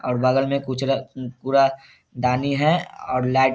और बगल मे कुचरा उ कूड़ा दानी है और लाइट --